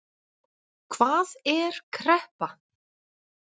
Hvað er kreppa?